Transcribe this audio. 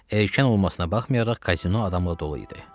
Erkən olmasına baxmayaraq kazino adamla dolu idi.